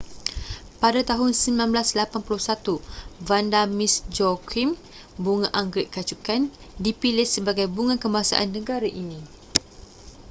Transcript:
pada tahun 1981 vanda miss joaquim bunga anggerik kacukan dipilih sebagai bunga kebangsaan negara ini